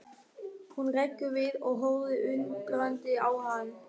Hún hrekkur við og horfir undrandi á hann.